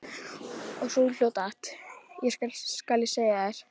Og sú hló dátt, skal ég segja þér.